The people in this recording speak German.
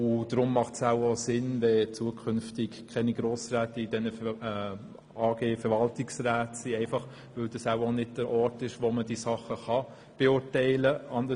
Und deshalb macht es vermutlich auch Sinn, wenn Grossräte zukünftig in diesen AG-Verwaltungsräten keinen Einsitz mehr haben, weil das wohl auch nicht der Ort ist, wo man die Dinge beurteilen kann.